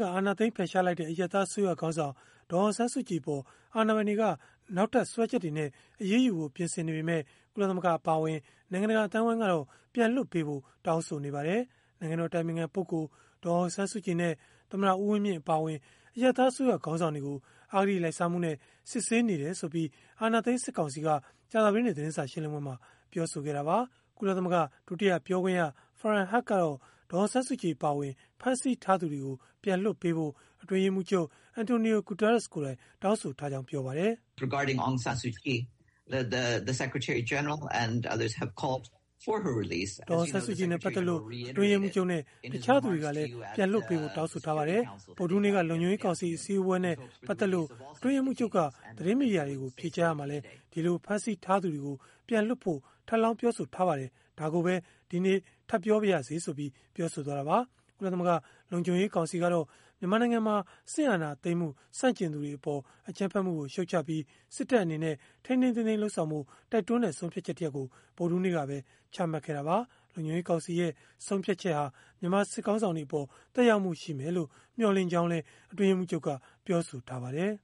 က အာဏာသိမ်း ဖယ်ရှားလိုက်တဲ့ အရပ်သားအစိုးရခေါင်းဆောင် ဒေါ်အောင်ဆန်းစုကြည် အပေါ် အာဏာပိုင်တွေက နောက်ထပ်စွဲချက်တွေနဲ့ အရေးယူဖို့ ပြင်ဆင်နေပေမယ့် ကုလသမဂ္ဂ အပါအဝင် နိုင်ငံတကာ အသိုင်းအဝန်းကတော့ ပြန်လွှတ်ပေးဖို့ တောင်းဆိုနေပါတယ်။ နိုင်ငံတော်အတိုင်ပင်ခံပုဂ္ဂိလ် ဒေါ်အောင်ဆန်းစုကြည်နဲ့ သမ္မတဦးဝင်းမြင့် အပါအဝင် အရပ်သားအစိုးရ ခေါင်းဆောင်တွေကို အဂတိလိုက်စားမှုနဲ့ စစ်ဆေးနေတယ်ဆိုပြီး အာဏာသိမ်းစစ်ကောင်စီက ဗုဒ္ဓဟူးနေ့ သတင်းစာရှင်းလင်းပွဲမှာ ပြောဆိုခဲ့တာပါ။ ကုလသမဂ္ဂ ဒုတိယပြောခွင့်ရ Farhan Haq ကတော့ ဒေါ်အောင်ဆန်းစုကြည် အပါအဝင် ဖမ်းဆီးထားသူတွေကို ပြန်လွှတ်ပေးဖို့ အတွင်းရေးမှူးချုပ် António Guterres ကိုယ်တိုင် တောင်းဆိုထားကြောင်း ပြောပါတယ်။ “ဒေါ်အောင်ဆန်းစုကြည်နဲ့ ပတ်သက်လို့ အတွင်းရေးမှူးချုပ်နဲ့ တခြားသူတွေကလည်း ပြန်လွှတ်ပေးဖို့ တောင်းဆိုထားပါတယ်။ ဗုဒ္ဓဟူးနေ့က လုံခြုံရေးကောင်စီ အစည်းအဝေးနဲ့ ပတ်သက်လို့ အတွင်းရေးမှူးချုပ်က သတင်းမီဒီယာတွေကို ဖြေကြားရာမှာလည်း ဒီလိုဖမ်းဆီး ထားသူတွေကို ပြန်လွှတ်ဖို့ ထပ်လောင်းပြောဆိုထားပါတယ်။ ဒါကိုပဲ ဒီနေ့ထပ်ပြောပါရစေ။” ကုလသမဂ္ဂ လုံခြုံရေး ကောင်စီကတော့ မြန်မာနိုင်ငံမှာ စစ်အာဏာသိမ်းမှု ဆန့်ကျင်သူတွေအပေါ် အကြမ်းဖက်မှုကို ရှုံ့ချပြီး စစ်တပ်အနေနဲ့ ထိန်းထိန်းသိမ်းသိမ်း လုပ်ဆောင်ဖို့ တိုက်တွန်းတဲ့ ဆုံးဖြတ်ချက် တရပ်ကို ဗုဒ္ဓဟူးနေ့ကပဲ ချမှတ်ခဲ့တာပါ။ လုံခြုံရေးကောင်စီရဲ့ ဆုံးဖြတ်ချက်ဟာ မြန်မာစစ်ခေါင်းဆောင်တွေအပေါ် သက်ရောက်မှု ရှိမယ်လို့ မျှော်လင့်ကြောင်းလည်း အတွင်းရေးမှူးချုပ်က ပြောဆိုထားပါတယ်